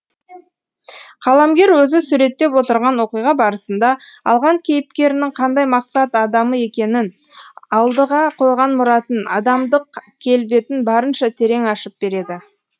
қаламгер өзі суреттеп отырған оқиға барысында алған кейіпкерінің қандай мақсат адамы екенін алдыға қойған мұратын адамдық келбетін барынша терең ашып береді